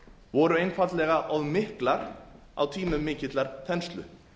voru einfaldlega of miklar á tímum mikillar þenslu